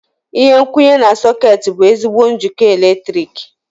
Ihe nkwụnye na sọ̀két bụ ezigbo njikọ eletrik.